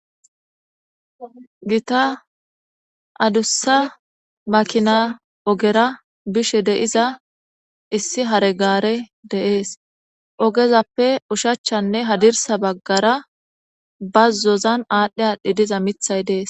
gita adussa makina ogera bishe de7iza issi hare gaare de7ees ogezappe ushachchanne hadirsa baggara bazzozan aadhdhi aadhdhi diza mithay dees